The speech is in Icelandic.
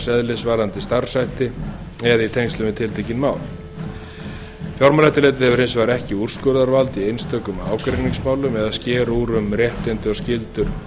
eðlis varðandi starfshætti eftirlitsskyldra aðila eða í tengslum við tiltekin mál fjármálaeftirlitið hefur hins vegar ekki úrskurðarvald í einstökum ágreiningsmálum eða sker úr um réttindi og skyldur